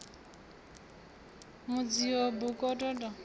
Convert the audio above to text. mudzio b u kokota tshiselo